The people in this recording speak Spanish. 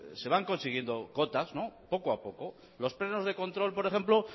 se van consiguiendo cotas poco a poco los plenos de control por ejemplo